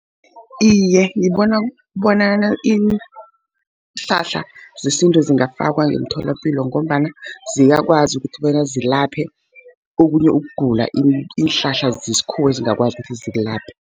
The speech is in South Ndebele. Iye, ngibona bonyana iinhlahla zesintu zingafakwa emtholapilo, ngombana ziyakwazi ukuthi bona zilaphe okunye ukugula iinhlahla zesikhuwa ezingakwazi ukuthi zikulaphe.